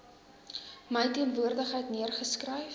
my teenwoordigheid neergeskryf